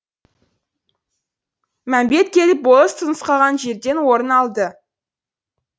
мәмбет келіп болыс нұсқаған жерден орын алды